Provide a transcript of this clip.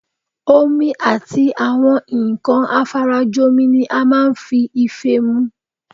Omi àti àwọn nǹkan afarajomi ni a máa ń fi ife mu